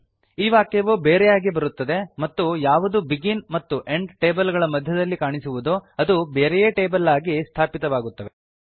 ಈ ವಾಕ್ಯವು ಬೇರೆಯಾಗಿ ಬರುತ್ತದೆ ಮತ್ತು ಯಾವುದು ಬೆಗಿನ್ ಮತ್ತು ಎಂಡ್ ಟೇಬಲ್ ಗಳ ಮಧ್ಯದಲ್ಲಿ ಕಾಣಿಸುವುದೋ ಅದು ಬೇರೆಯೇ ಟೇಬಲ್ ಆಗಿ ಸ್ಥಾಪಿತವಾಗುತ್ತವೆ